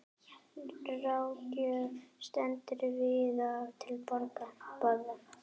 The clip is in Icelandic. Ráðgjöf stendur víða til boða.